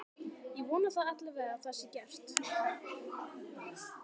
ég vona það alla vega að það sé gert